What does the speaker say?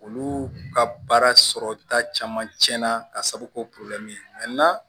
Olu ka baara sɔrɔta caman tiɲɛna ka sababu kɛ ye